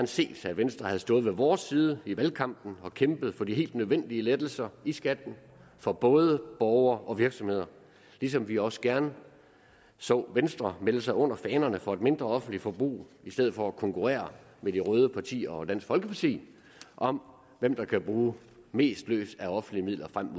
set at venstre havde stået på vores side i valgkampen og kæmpet for de helt nødvendige lettelser i skatten for både borgere og virksomheder ligesom vi også gerne så venstre melde sig under fanerne og tale for et mindre offentligt forbrug i stedet for at konkurrere med de røde partier og dansk folkeparti om hvem der kan bruge mest løs af offentlige midler frem